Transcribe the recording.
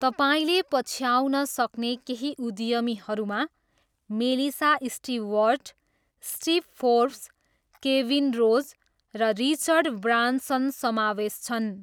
तपाईँले पछ्याउन सक्ने केही उद्यमीहरूमा Melissa Stewart, Steve Forbes, Kevin Rose, र रिचर्ड ब्रान्सन समावेश छन्।